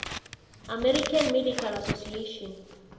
american medical association